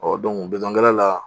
Ɔ bitɔnkɛla la